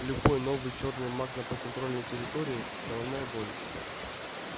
любой новый чёрный маг на подконтрольной территории головная боль